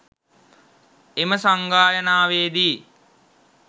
එම සංගායනාවේදී